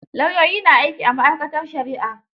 Lauyoyi na aiki a ma'aikatar shari'a.